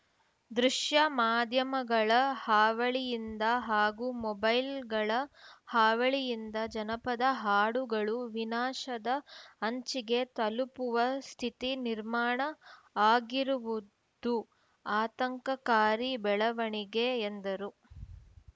ದೃಶ್ಯ ಮಾಧ್ಯಮಗಳ ಹಾವಳಿಯಿಂದ ಹಾಗೂ ಮೊಬೈಲ್‌ಗಳ ಹಾವಳಿಯಿಂದ ಜನಪದ ಹಾಡುಗಳು ವಿನಾಶದ ಅಂಚಿಗೆ ತಲುಪುವ ಸ್ಥಿತಿ ನಿರ್ಮಾಣ ಆಗಿರುವುದು ಆತಂಕಕಾರಿ ಬೆಳವಣಿಗೆ ಎಂದರು